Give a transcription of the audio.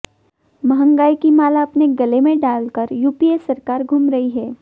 मंहगाई की माला अपने गले में डालकर यूपीए सरकार घूम रही है